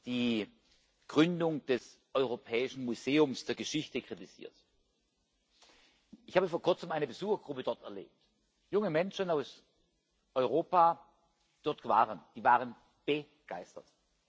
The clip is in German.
Die Gründung des europäischen Museums der Geschichte wurde kritisiert. Ich habe vor Kurzem eine Besuchergruppe dort erlebt, junge Menschen aus Europa, die dort waren die waren begeistert.